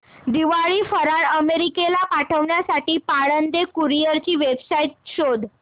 दिवाळी फराळ अमेरिकेला पाठविण्यासाठी पाळंदे कुरिअर ची वेबसाइट शोध